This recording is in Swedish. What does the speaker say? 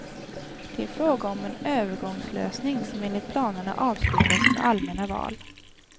Det är fråga om en övergångslösning som enligt planerna avslutas med allmänna val.